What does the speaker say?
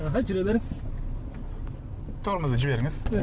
аха жүре беріңіз тормозды жіберіңіз